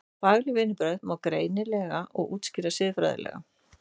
Fagleg vinnubrögð má því greina og útskýra siðfræðilega.